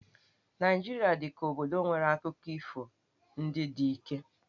Naịjirịa dị ka obodo nwere akụkọ ifo ndị Dike.